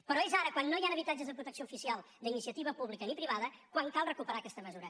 però és ara quan no hi han habitatges de protecció oficial d’iniciativa ni pública ni privada quan cal recuperar aquesta mesura